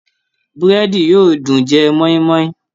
Búrẹ́dì yóò dùn jẹ mọ́ínmọ́ín